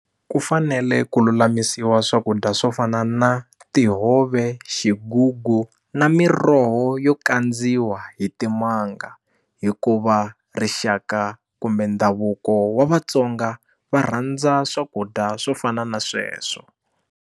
Ku fanele ku lulamisiwa swakudya swo fana na tihove xigugu na miroho yo kandziwa hi timanga hikuva rixaka kumbe ndhavuko wa Vatsonga va rhandza swakudya swo fana na sweswo.